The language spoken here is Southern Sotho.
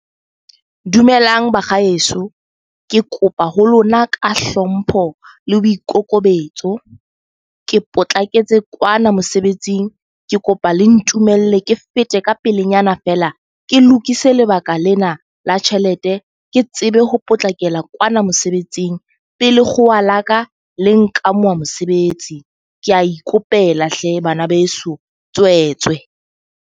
Dumelang bakgaheso. Ke kopa ho lona ka hlompho le boikokobetso. Ke potlaketse kwana mosebetsing, ke kopa le ntumelle ke fete ka pelenyana feela ke lokise lebaka lena la tjhelete ke tsebe ho potlakela kwana mosebetsing. Pele kgolwa laka le nkamohe mosebetsi. Ke a ikopela hle bana beso, tswetswe.